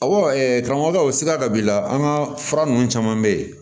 Awɔ karamɔgɔ sira dɔ b'i la an ka fura ninnu caman bɛ yen